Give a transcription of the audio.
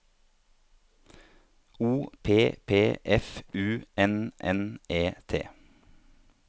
O P P F U N N E T